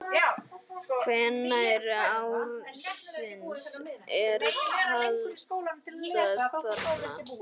Hvenær ársins er kaldast þarna?